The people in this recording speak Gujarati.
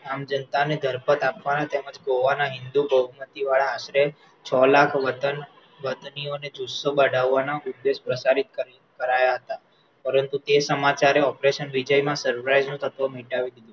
આમ જનતાને જળપટ આપવા તેમજ ગોવાના હિન્દૂ બહુમતી વાળા આશરે છ લાખ વતન વતનીઓ ને જુસ્સો બઢાવા ના ઉદ્દેશ પ્રસારિત કરાયા હતા પરંતુ તે સમાચારે operation વિજયમા સુરવીઈવાલ તત્વ મિટાવી દીધું